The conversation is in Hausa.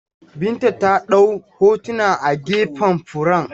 Binta ta ɗau hotuna a gefen furen.